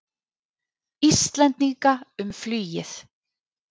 Íslendinga um flugið.